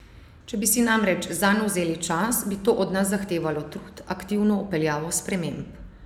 Če bi si namreč zanj vzeli čas, bi to od nas zahtevalo trud, aktivno vpeljavo sprememb.